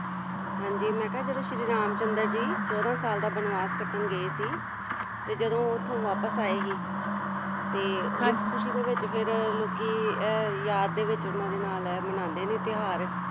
ਹਾਂਜੀ ਮੈਂ ਕਿਹਾ ਜਦੋਂ ਸ਼੍ਰੀ ਰਾਮ ਚੰਦਰ ਜੀ ਚੌਂਦਾ ਸਾਲ ਦਾ ਬਨਵਾਸ ਕੱਟਣ ਗਏ ਸੀ ਤੇ ਜਦੋਂ ਉਹ ਉਥੋਂ ਵਾਪਿਸ ਆਏ ਸੀ ਤੇ ਉਸ ਖੁਸ਼ੀ ਦੇ ਵਿੱਚ ਫਿਰ ਲੋਕੀ ਯਾਦ ਦੇ ਵਿੱਚ ਉਨ੍ਹਾਂ ਦੇ ਨਾਲ ਮਨਾਂਦੇ ਨੇ ਤਿਉਹਾਰ,